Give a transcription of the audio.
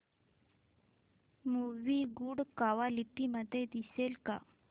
movie good quality मध्ये दिसेल का